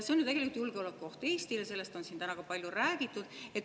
See on ju tegelikult julgeolekuoht Eestile, sellest on siin täna palju räägitud.